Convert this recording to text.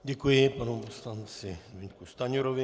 Děkuji panu poslanci Zbyňku Stanjurovi.